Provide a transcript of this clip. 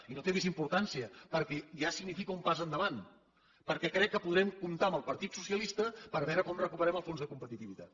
i no té més importància perquè ja significa un pas endavant perquè crec que podrem comptar amb el partit socialista per veure com recuperem el fons de competitivitat